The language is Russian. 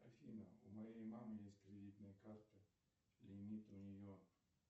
афина у моей мамы есть кредитная карта лимит у нее